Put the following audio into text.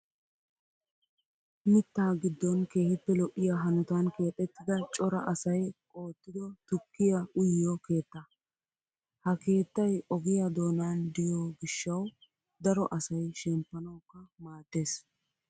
Mittaa giddon keehippe lo'iyaa hanotan keexettida cora asayi ottido tukkiya uyiyoo keettaa. Ha keettayi ogiyaa doonan diyo gishshawu daro asayi shemppanawukka maades.